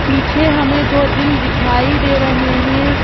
पीछे हमें दो दिल दिखाई दे रहे हैं।